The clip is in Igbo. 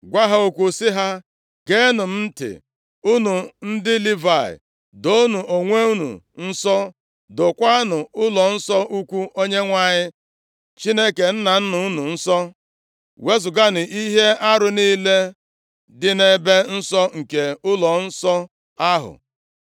gwa ha okwu sị ha, “Geenụ m ntị unu ndị Livayị, doonụ onwe unu nsọ, dokwaanụ ụlọnsọ ukwu Onyenwe anyị Chineke nna nna unu nsọ. Wezuganụ ihe arụ niile dị nʼebe nsọ nke ụlọnsọ ahụ.